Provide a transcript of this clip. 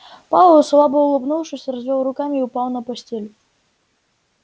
пауэлл слабо улыбнувшись развёл руками и упал на постель